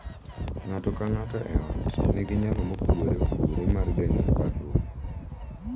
Ng’ato ka ng’ato e ot nigi nyalo mopogore opogore mar geng’o parruok,